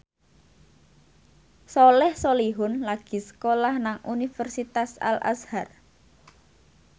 Soleh Solihun lagi sekolah nang Universitas Al Azhar